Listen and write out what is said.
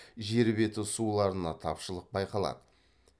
жер беті суларына тапшылық байқалады